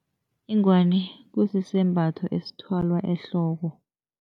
Ingwani kusisembatho esithwalwa ehloko.